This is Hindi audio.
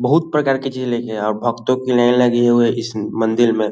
बहुत प्रकार की चीज़ रखी है और भक्तो की लाइन लगी हुए है इस मंदिर में।